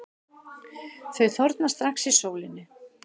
Þau þorna strax í sólinni.